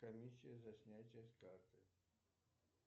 комиссия за снятие с карты